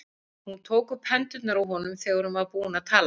Hún tók um hendurnar á honum þegar hún var búin að tala.